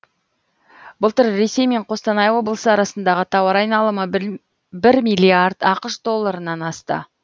былтыр ресей мен қостанай облысы арасындғы тауар айналымы бір миллиард ақш долларынан асты